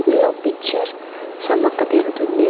లో పిక్చర్ సమ్మక్క దేవత ఉంది.